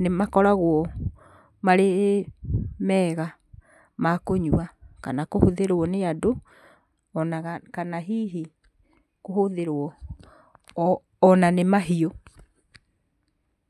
nĩ makoragwo marĩ mega ma kũnyua kana kũhũthĩrwo, nĩ andũ, ona kana hihi kũhũthĩrwo ona nĩ mahiũ.